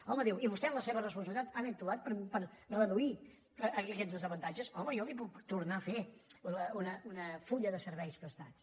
home diu i vostès en la seva responsabilitat han actuat per reduir aquests desavantatges home jo li puc tornar a fer un full de serveis prestats